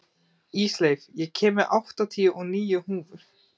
Ísleif, ég kom með áttatíu og níu húfur!